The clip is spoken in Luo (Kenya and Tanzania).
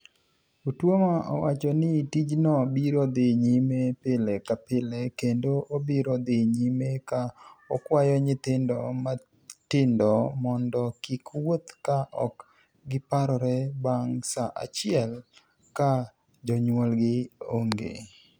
Otuoma owacho nii tijno biro dhi niyime pile ka pile kenido obiro dhi niyime ka okwayo niyithinido matinido monido kik wuoth ka ok giparore banig ' sa achiel ka joniyuolgi onige.